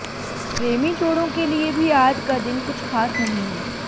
प्रेमी जोड़ों के लिए भी आज का दिन कुछ खास नहीं है